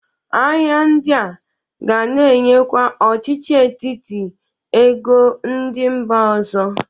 Ahịa ndị a ga na-enyekwa ọchịchị etiti ego ndị mba ọzọ.